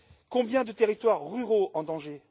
Combien de territoires ruraux en danger?